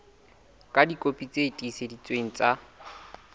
ka dikopi tse tiiseleditsweng tsa